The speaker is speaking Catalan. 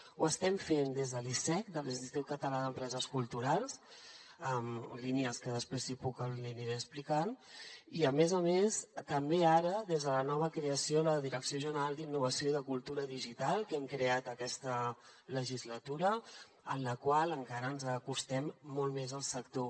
ho estem fent des de l’icec l’institut català de les empreses culturals en línies que després si puc li aniré explicant i a més a més també ara des de la nova creació de la direcció general d’innovació i cultura digital que hem creat aquesta legislatura amb la qual encara ens acostem molt més al sector